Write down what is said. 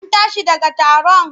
An tashi daga taron?